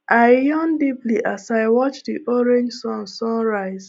i yawn deeply as i watch the orange sun sun rise